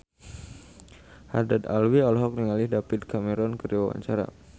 Haddad Alwi olohok ningali David Cameron keur diwawancara